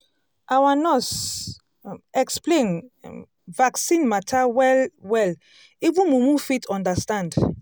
our nurse um explain um vaccine matter well-well even mumu fit understand.